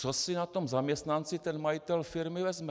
Co si na tom zaměstnanci ten majitel firmy vezme?